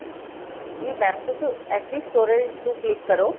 ਜੀ mam ਤੁਸੀਂ SD storage ਨੂੰ click ਕਰੋ